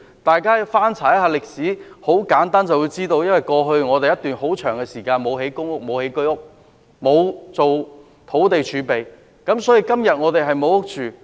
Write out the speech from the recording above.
大家翻查歷史便知道，由於過去一段很長時間沒有興建公屋和居屋，沒有預留土地儲備，所以今天我們沒有房屋居住。